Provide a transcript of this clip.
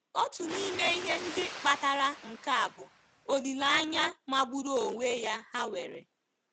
Otu n'ime ihe ndị kpatara nke a bụ olileanya magburu onwe ya ha nwere.